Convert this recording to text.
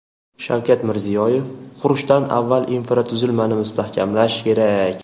Shavkat Mirziyoyev: Qurishdan avval infratuzilmani mustahkam qilish kerak.